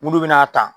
Munnu be n'a ta